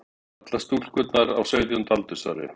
Allar eru stúlkurnar á sautjánda aldursári